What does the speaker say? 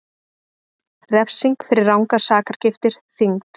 Refsing fyrir rangar sakargiftir þyngd